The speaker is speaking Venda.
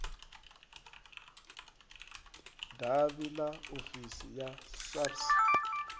davhi ḽa ofisi ya sars